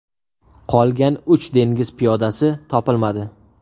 Qolgan uch dengiz piyodasi topilmadi.